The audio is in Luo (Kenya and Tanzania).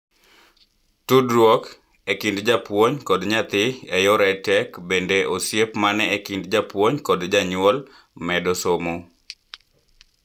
tudruok e kinde jaapuon kod nyathi e yor EdTech bende osiep man e kind japuonj kod janyuol medo somo